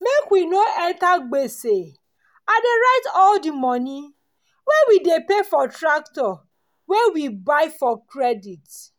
make we no enter gbese i dey write all di moni wey we dey pay for tractor wey we buy for credit.